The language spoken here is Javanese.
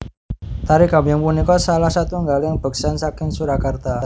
Tari Gambyong punika salah satunggaling beksan saking Surakarta